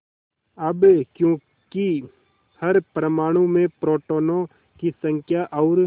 अब क्योंकि हर परमाणु में प्रोटोनों की संख्या और